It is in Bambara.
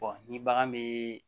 ni bagan bɛ